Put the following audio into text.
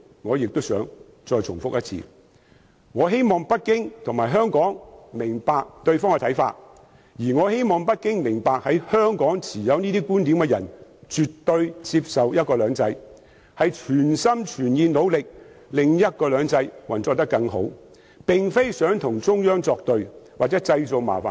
我想重複他的總結：我希望北京政府和香港人明白對方的看法，並希望北京政府明白，持有這種觀點的香港人絕對接受"一國兩制"，是全心全意、努力令"一國兩制"運作得更好，並非想與中央作對或為中央製造麻煩。